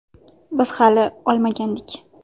Biz hali olmagandik.